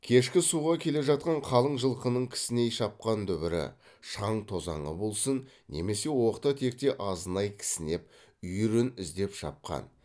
кешкі суға келе жатқан қалың жылқының кісіней шапқан дүбірі шаң тозаңы болсын немесе оқта текте азынай кісінеп үйірін іздеп шапқан